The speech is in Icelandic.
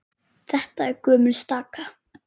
Þetta er gömul staka.